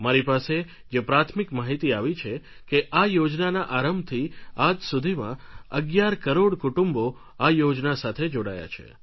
મારી પાસે જે પ્રાથમિક માહિતી આવી છે કે આ યોજનાના આરંભથી આજ સુધીમાં અગિયાર કરોડ કુટુંબો આ યોજના સાથે જોડાયા છે